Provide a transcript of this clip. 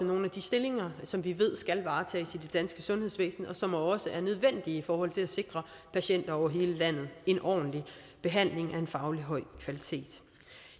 nogle af de stillinger som vi ved skal varetages i det danske sundhedsvæsen og som også er nødvendige i forhold til at sikre patienter over hele landet en ordentlig behandling af en fagligt høj kvalitet